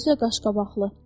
Özü də qaşqabaqlı.